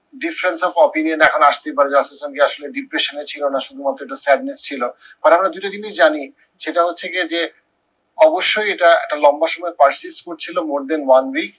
বিশ্বাসযোগ্য opinion এখন আসতেই পারে যে ইসলাম কি আসলে depression এ ছিল না শুধুমাত্র একটা sadness ছিল। পরে আমরা দুটো জিনিস জানি সেটা হচ্ছে গিয়ে যে, অবশ্যই এটা একটা লম্বা সময়ের পাশ দিয়ে ছিল more than one week